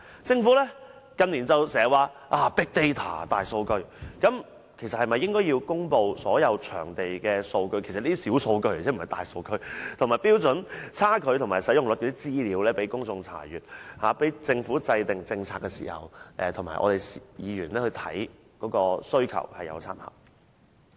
政府近年經常提及大數據，其實政府應該公布所有場地的數據——這些是小數據而不是大數據，以及與《規劃標準》的差距及使用率等資料，讓公眾查閱，以及供政府制訂政策時參考及議員查看需求。